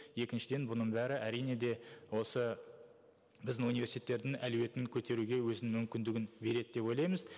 екіншіден бұның бәрі әрине де осы біздің университеттердің әлеуетін көтеруге өзінің мүмкіндігін береді деп ойлаймыз